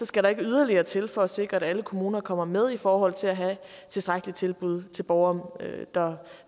skal yderligere til for at sikre at alle kommuner kommer med i forhold til at have et tilstrækkeligt tilbud til borgere der